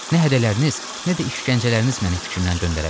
Nə hədələriniz, nə də işgəncələriniz məni fikrimdən döndərə bilər.